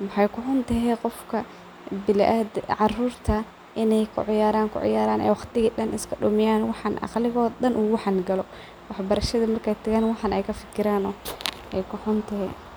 Waxay kuxuntehe in ay wxan kuciyaran kuciyaran waqtiga dha iskadumiyan, aqligodha dan waxan galo , wax barashada markay galan waxan kafikiran.